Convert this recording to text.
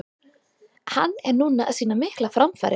Hann er núna að sýna miklar framfarir.